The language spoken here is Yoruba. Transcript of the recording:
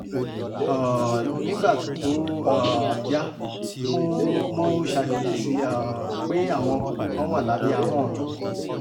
um nígbà tó um yá mo mo ṣàkíyèsí um pé àwọn kókó kan wà lábẹ́ ahọ́n mi